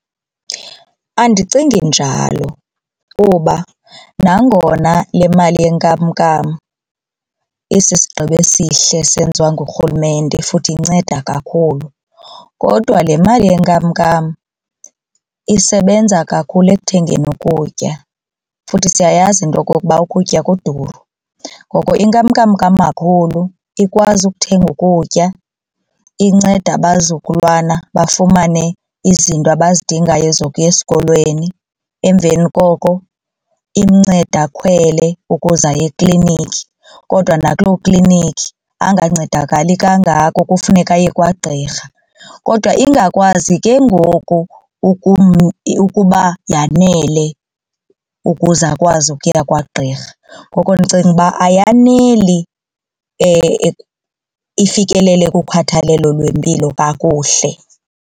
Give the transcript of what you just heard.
Andicingi njalo kuba nangona le mali yenkamnkam isisigqibo esihle senziwa nguRhulumente futhi inceda kakhulu kodwa le mali yenkamnkam isebenza kakhulu ekuthengeni ukutya futhi siyayazi into yokokuba ukutya kuduru. Ngoko inkamnkam kamakhulu ikwazi ukuthenga ukutya inceda abazukulwana bafumane izinto abazidingayo ezokuya esikolweni emveni koko imncede akhwele ukuze aye ekliniki kodwa nakuloo klinikhi angancedakali kangako kufuneka aye kwagqirha. Kodwa ingakwazi ke ngoku ukuba yanele ukuze akwazi ukuya kwagqirha ngoko ndicinga uba ayaneli ifikelele kukhathalelo lwempilo kakuhle.